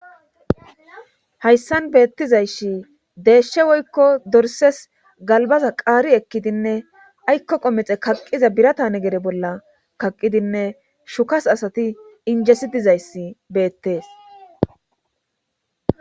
hayssan beettizayssi deyshshe woykko dorses galbaza qaari ekkidinne aykko qomexe kaqqiza biratane gere bolla kaqqidinne shukas asati injesi dizayssi beettees